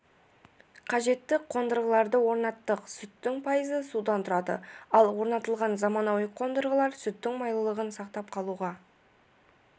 қажетті қондырғыларды орнаттық сүттің пайызы судан тұрады ал орнатылған заманауи қондырғылар сүттің майлылығын сақтап қалуға